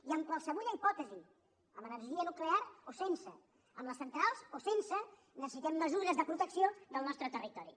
i en qualsevulla hipòtesi amb energia nuclear o sense amb les centrals o sense necessitem mesures de protecció del nostre territori